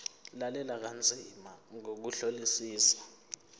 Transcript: lalela kanzima ngokuhlolisisa